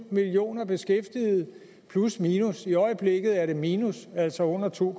millioner beskæftigede plus minus i øjeblikket er den minus altså under to